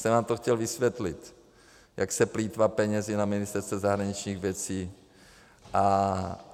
Jsem vám to chtěl vysvětlit, jak se plýtvá penězi na Ministerstvu zahraničních věcí.